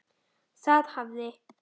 Það hafði